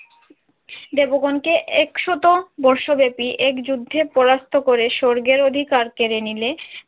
দেবগনকে একশত বর্ষ ব্যাপী এক যুদ্ধে পরাস্ত করে স্বর্গের অধিকার কেড়ে নিলে